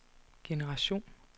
generation